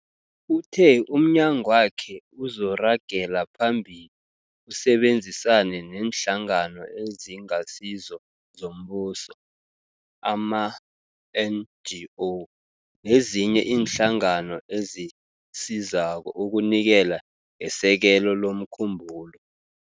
Uthe umnyagwakhe uzoragela phambili usebenzisane neeNhlangano eziNgasizo zoMbuso, ama-NGO, nezinye iinhlangano ezisizako ukunikela ngesekelo lomkhumbulo.